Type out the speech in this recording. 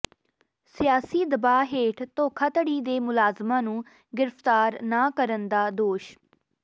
ਸਿਆਸੀ ਦਬਾਅ ਹੇਠ ਧੋਖਾਧੜੀ ਦੇ ਮੁਲਜ਼ਮਾਂ ਨੂੰ ਗ੍ਰਿਫ਼ਤਾਰ ਨਾ ਕਰਨ ਦਾ ਦੋਸ਼